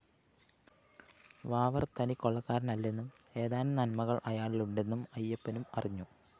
വാവര്‍ തനിക്കൊള്ളക്കാരനല്ലെന്നും ഏതാനും നന്മകള്‍ അയാളിലുണ്ടന്നും അയ്യപ്പനും അറിഞ്ഞു